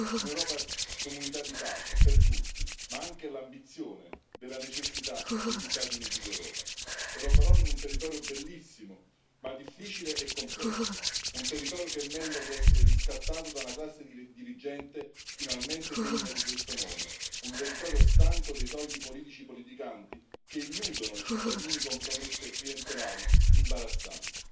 Un'Europa comunità di pace per tutti, ma anche l'ambizione della necessità degli Stati Uniti d'Europa, e lo farò in un territorio bellissimo, ma difficile e complesso, un territorio che merita di essere riscattato da una classe dirigente finalmente degna di questo nome, un territorio stanco dei soliti politici politicanti che illudono i cittadini con promesse clientelari imbarazzanti.